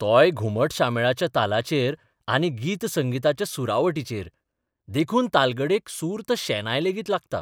तोय घुमट शामेळाच्या तालाचेर आनी गीत संगिताचे सुरावटीचेर देखून तालगडेक सुर्त शेनाय लेगीत लागता.